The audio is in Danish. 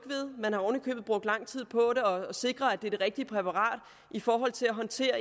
ved brugt lang tid på at sikre at det er det rigtige præparat i forhold til at håndtere